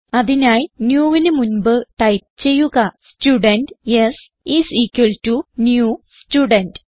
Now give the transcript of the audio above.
അതിനായി newന് മുൻപ് ടൈപ്പ് ചെയ്യുക student s is equal to new student